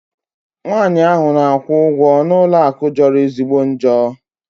Nwaanyị ahụ na-akwụ ụgwọ n'ụlọ akụ jọrọ ezigbo njọ.